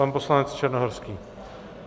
Pan poslanec Černohorský.